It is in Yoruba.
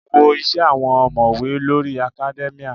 Wo isẹ àwọn omowe lórí academia.